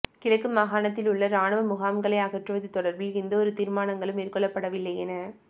கிழக்கு மாகாணத்திலுள்ள இராணுவ முகாம்களை அகற்றுவது தொடர்பில் எந்தவொரு தீர்மானங்களும் மேற்கொள்ளப்படவில்லையென